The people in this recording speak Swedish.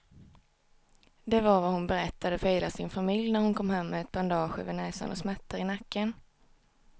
Det var vad hon berättade för hela sin familj när hon kom hem med ett bandage över näsan och smärtor i nacken.